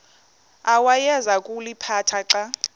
awayeza kuliphatha xa